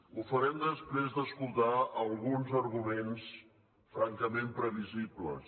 ho farem després d’escoltar alguns arguments francament previsibles